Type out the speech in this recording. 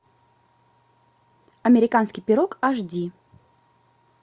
американский пирог аш ди